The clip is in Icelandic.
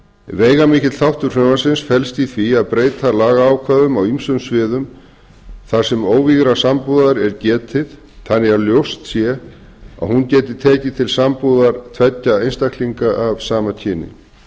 veigamikill þáttur frumvarpsins felst í því að breyta lagaákvæðum á ýmsum sviðum þar sem óvígðrar sambúðar er getið þannig að ljóst sé að hún geti tekið til sambúðar tveggja einstaklinga af sama kyni